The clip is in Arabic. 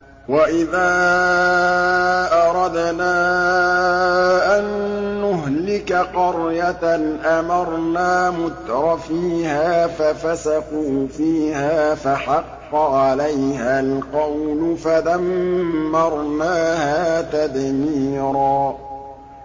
وَإِذَا أَرَدْنَا أَن نُّهْلِكَ قَرْيَةً أَمَرْنَا مُتْرَفِيهَا فَفَسَقُوا فِيهَا فَحَقَّ عَلَيْهَا الْقَوْلُ فَدَمَّرْنَاهَا تَدْمِيرًا